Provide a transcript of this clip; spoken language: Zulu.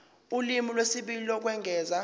ulimi lwesibili lokwengeza